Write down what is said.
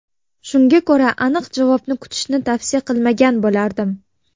Shunga ko‘ra aniq javobni kutishni tavsiya qilmagan bo‘lardim.